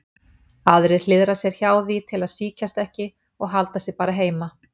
Aðrir hliðra sér hjá því til að sýkjast ekki og halda sig bara heima.